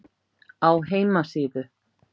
Á heimasíðu